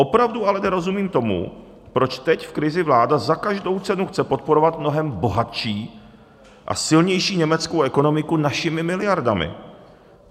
Opravdu ale nerozumím tomu, proč teď v krizi vláda za každou cenu chce podporovat mnohem bohatší a silnější německou ekonomiku našimi miliardami.